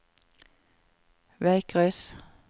veikryss